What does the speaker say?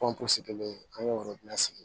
an y'o sigi